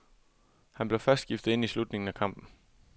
Han blev først skiftet ind i slutningen af kampen.